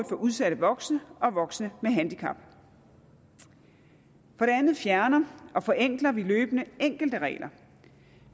for udsatte voksne og voksne med handicap for det andet fjerner og forenkler vi løbende enkelte regler